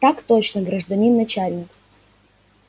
так точно гражданин начальник